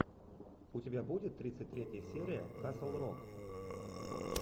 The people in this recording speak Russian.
у тебя будет тридцать третья серия касл рок